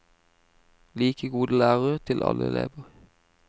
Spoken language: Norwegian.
Like gode lærere til alle elever.